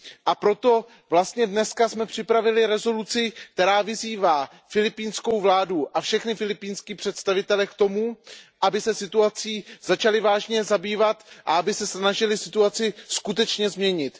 A proto jsme dnes připravili rezoluci, která vyzývá filipínskou vládu a všechny filipínské představitele k tomu, aby se situací začali vážně zabývat a aby se snažili situaci skutečně změnit.